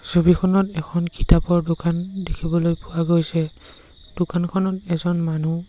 ছবিখনত এখন কিতাপৰ দোকান দেখিবলৈ পোৱা গৈছে দোকানখনত এজন মানুহ--